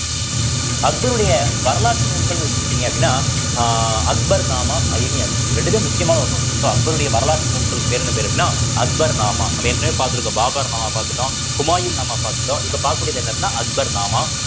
அக்பருடைய வரலாற்று நூல்கள்ன்னு எடுத்துக்கிட்டீங்க அப்படின்னா அஹ் அக்பர் நாமா, அயினி -ஐ இப்படி ரெண்டுதும் முக்கியமான ஒரு நூல் so அக்பருடைய வரலாற்று நூல்களுக்கு பேர் என்ன பேர் அப்படின்னா அக்பர் நாமா நம்ம ஏற்கனவே பார்த்திருக்க பாபர் நாமா பாத்துட்டோம் ஹுமாயூன் நாமா பாத்துட்டோம் இப்ப பாக்கக்கூடியது என்ன அப்படின்னா அக்பர் நாமா